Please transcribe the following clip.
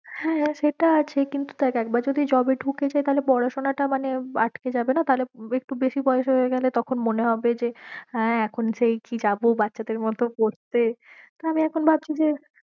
হ্যাঁ সেটা আছে কিন্তু দেখ একবার যদি job এ ঢুকে যাই তাহলে পড়াশোনাটা মানে আটকে যাবে না তাহলে একটু বেশি বয়েস হয়ে গেলে তখন মনে হবে যে হ্যাঁ এখন সেই কি যাবো বাচ্ছাদের মতো পড়তে, তা আমি এখন ভাবছি যে